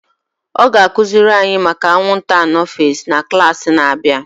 A ga akụziri anyị maka anwụnta anofels na klaasị na-abịa